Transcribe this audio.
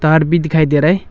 तार भी दिखाई दे रहा है।